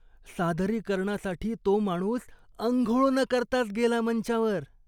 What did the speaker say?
सादरीकरणासाठी तो माणूस आंघोळ न करताच गेला मंचावर.